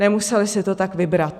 Nemuseli si to tak vybrat.